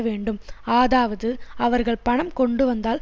வேண்டும் ஆதாவது அவர்கள் பணம் கொண்டுவந்தால்